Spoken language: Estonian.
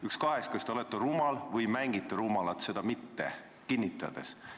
Üks kahest: kas te olete rumal või mängite rumalat seda mitte kinnitades.